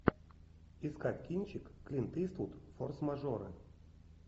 искать кинчик клинт иствуд форс мажоры